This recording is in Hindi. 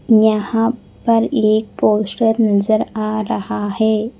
यहां पर एक पोस्टर नजर आ रहा है।